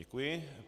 Děkuji.